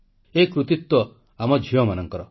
ଏ କୃତିତ୍ୱ ଆମ ଝିଅମାନଙ୍କର